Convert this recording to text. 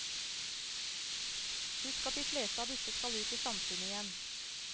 Husk at de fleste av disse skal ut i samfunnet igjen.